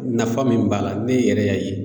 Nafa min b'a la, ne yɛrɛ y'a ye.